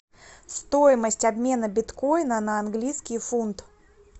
стоимость обмена биткоина на английский фунт